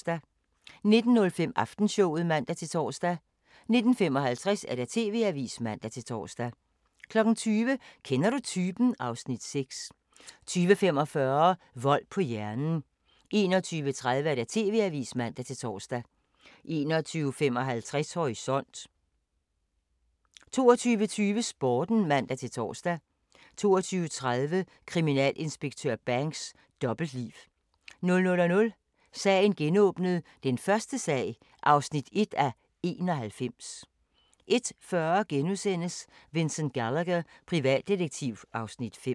19:05: Aftenshowet (man-tor) 19:55: TV-avisen (man-tor) 20:00: Kender du typen? (Afs. 6) 20:45: Vold på hjernen 21:30: TV-avisen (man-tor) 21:55: Horisont 22:20: Sporten (man-tor) 22:30: Kriminalinspektør Banks: Dobbeltliv 00:00: Sagen genåbnet: Den første sag (1:91) 01:40: Vincent Gallagher, privatdetektiv (Afs. 5)*